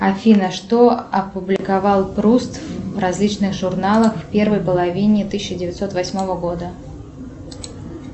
афина что опубликовал пруст в различных журналах в первой половине тысяча девятьсот восьмого года